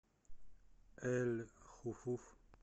эль хуфуф